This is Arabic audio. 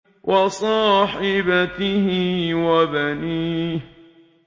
وَصَاحِبَتِهِ وَبَنِيهِ